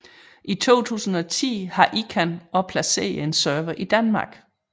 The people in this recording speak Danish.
I 2010 har ICANN også placeret en server i Danmark